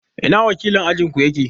I na wakilin ajin ku yake?